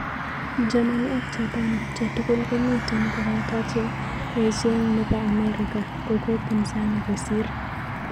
Germany ak Japan che tugul ko miten ko pata che echeng chepo amerika kokopinzani kosir.